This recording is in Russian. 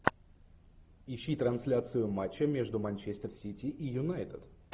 ищи трансляцию матча между манчестер сити и юнайтед